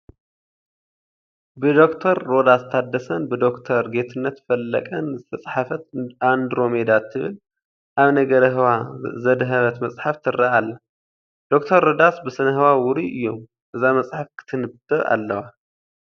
ብዶክተር ሮዳስ ታደሰን ብዶክተር ጌትነት ፈለቀን ዝተፃሕፈት ኣንድሮሜዳ ትብል ኣብ ነገረ ህዋ ዘድሃበት መፅሓፍ ትርአ ኣላ፡፡ ዶክተር ሮዳስ ብሰነ ህዋ ውሩይ እዮም፡፡ እዛ መፅሓፍ ክትንበብ ኣለዋ፡፡